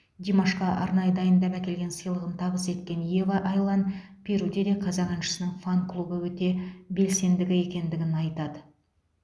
димашқа арнайы дайындап әкелген сыйлығын табыс еткен ева айлан перуде де қазақ әншісінің фан клубы өте белсендігі екендігін айтады